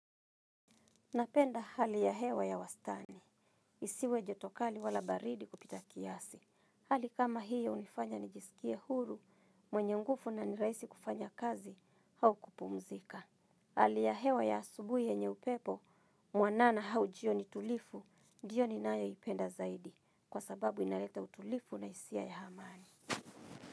Napenda hali ya hewa ya wastani. Isiwe joto kali wala baridi kupita kiasi. Hali kama hiyo hunifanya nijisikie huru, mwenye nguvu na ni rahisi kufanya kazi, au kupumzika. Hali ya hewa ya asubuhi yenye upepo, mwanana au jioni tulivu, ndio ninayoipenda zaidi. Kwa sababu inaleta utulivu na jisia ya amani.